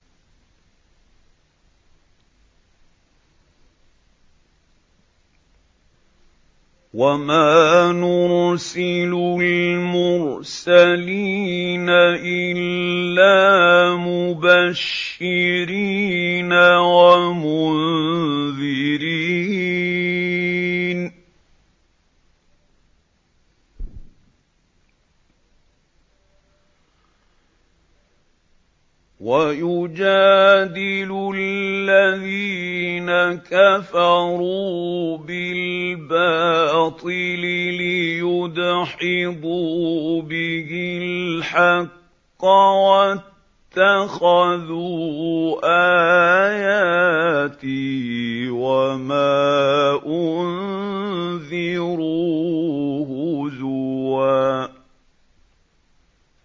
وَمَا نُرْسِلُ الْمُرْسَلِينَ إِلَّا مُبَشِّرِينَ وَمُنذِرِينَ ۚ وَيُجَادِلُ الَّذِينَ كَفَرُوا بِالْبَاطِلِ لِيُدْحِضُوا بِهِ الْحَقَّ ۖ وَاتَّخَذُوا آيَاتِي وَمَا أُنذِرُوا هُزُوًا